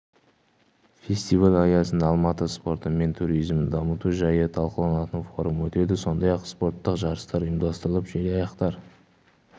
фестиваль аясында алматы спорты мен туризмін дамыту жайы талқыланатын форум өтеді сондай-ақ спорттық жарыстар ұйымдастырылып желаяқтар